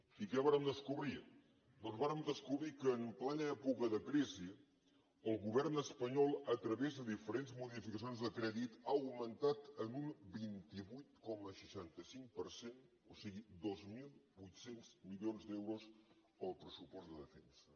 i què vàrem descobrir doncs vàrem descobrir que en plena època de crisi el govern espanyol a través de diferents modificacions de crèdit ha augmentat en un vint vuit coma seixanta cinc per cent o sigui dos mil vuit cents milions d’euros el pressupost de defensa